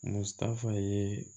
Musa ye